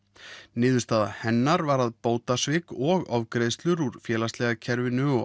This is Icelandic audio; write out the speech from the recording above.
niðurstaða hennar var að bótasvik og ofgreiðslur úr félagslega kerfinu og